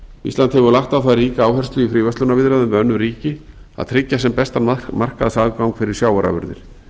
ísland hefur lagt á það ríka áherslu í fríverslunarviðræðum við önnur ríki að tryggja sem bestan markaðsaðgang fyrir sjávarafurðir